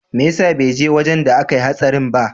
Meyasa beje wajan da akayi hatsarin ba?